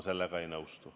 Sellega ma ei nõustu.